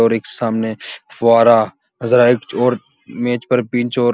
और एक सामने फुवारा ।